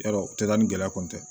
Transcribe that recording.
Yarɔ o tɛ taa ni gɛlɛya kun tɛ